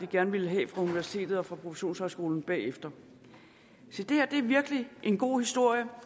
gerne ville have fra universitetet og fra professionshøjskolen se det her er virkelig en god historie